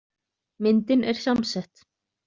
Myndin er samsett.